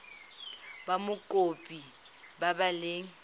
ba mokopi ba ba leng